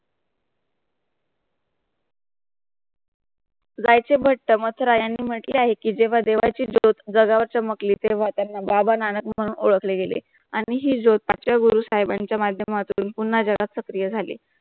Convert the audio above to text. झैशे बट्ट मतररयानी म्हटले आहे कि जेवा देवाची चमकली तेवा त्यांना बाबा - नाना मणहून उरकले गेले आणि हि ज्योताक्ष गुरु साहिबांच्या माध्यमातृन पुणं जगह स्त्रीया जाले.